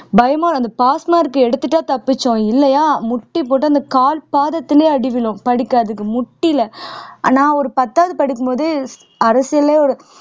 பயமா அந்த pass mark எடுத்துட்டா தப்பிச்சோம் இல்லையா முட்டி போட்டு அந்த கால் பாதத்துலயே அடி விழும் படிக்காததுக்கு முட்டியில நான் ஒரு பத்தாவது படிக்கும் போது அரசியல்லயே